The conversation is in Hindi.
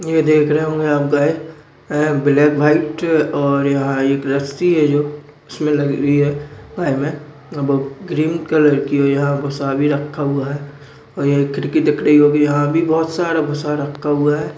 ये देख रहे होंगे यहाँ पे एक ब्लॅक व्हाइट और यहाँएक रस्सी है जो इसमे लगी हुई हैं क्रीम कलर का भुसा भी रख हुआ है और ये खिड़की दिख रही होगी यहा भी बहुत सारा भूसा रखा हुआ हैं।